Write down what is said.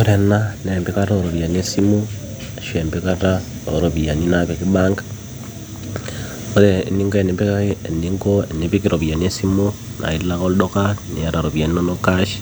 Ore enaa naa empikata ooropiyiani esimu ashu empikata ooropiyiani naapiki bank ore eninko enipikaki eninko tenipik iropiyiani esimu naa ilo ake olduka niata iropiyiani cash